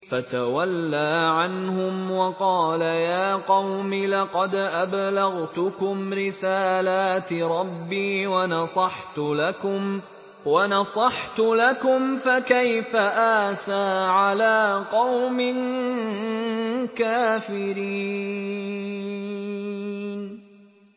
فَتَوَلَّىٰ عَنْهُمْ وَقَالَ يَا قَوْمِ لَقَدْ أَبْلَغْتُكُمْ رِسَالَاتِ رَبِّي وَنَصَحْتُ لَكُمْ ۖ فَكَيْفَ آسَىٰ عَلَىٰ قَوْمٍ كَافِرِينَ